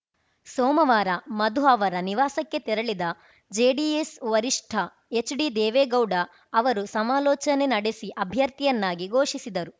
ಸೋಮವಾರ ಮಧು ಅವರ ನಿವಾಸಕ್ಕೆ ತೆರಳಿದ ಜೆಡಿಎಸ್‌ ವರಿಷ್ಠ ಎಚ್‌ಡಿದೇವೇಗೌಡ ಅವರು ಸಮಾಲೋಚನೆ ನಡೆಸಿ ಅಭ್ಯರ್ಥಿಯನ್ನಾಗಿ ಘೋಷಿಸಿದರು